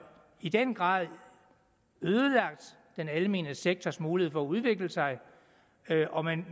i den grad ødelagt den almene sektors mulighed for at udvikle sig og man